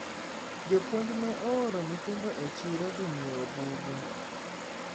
jopuonj ne ooro nyithindo e chiro dhi nyiewo buge